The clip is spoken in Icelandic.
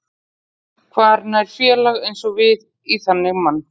Hvar nær félag eins og við í þannig mann?